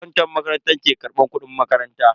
Akantan makarantar ke karbar kudin makaranta.